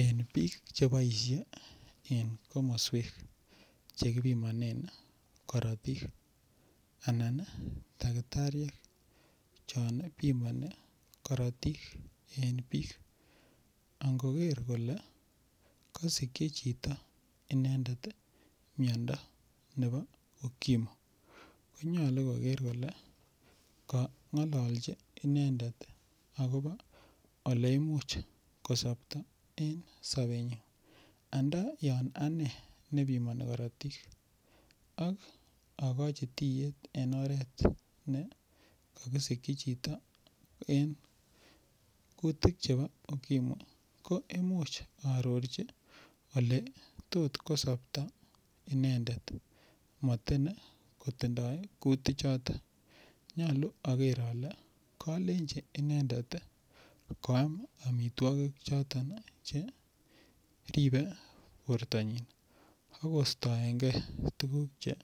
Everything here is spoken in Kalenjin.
En bik Che boisye en komoswek Che kipimonen korotik Anan takitariek chon bimoni korotik en bik ango ker kole kasikyi chito miando nebo okimu konyolu koger kole kangolchi inendet agobo Ole Imuch ko sopto en sobenyin ando yon ane ne bimoni korotik ak tiet en oret ne kakisikyi chito en kutik chebo okimu ko Imuch aarorchi Ole tot kosopto inendet motin kotindoi kutichoto nyolu ager ale kolenji inendet koam amitwogik choton Che ribe bortanyin ak kostoenge tuguk Che